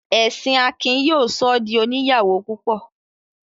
Ẹ̀sìn Akin yóò sọ ọ́ di òní ìyàwó púpọ.